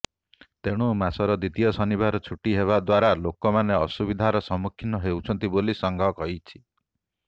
ତେଣୁ ମାସର ଦ୍ୱିତୀୟ ଶନିବାର ଛୁଟି ହେବା ଦ୍ୱାରା ଲୋକମାନେ ଅସୁବିଧାର ସମ୍ମୁଖୀନ ହେଉଛନ୍ତି ବୋଲି ସଂଘ କହିଛି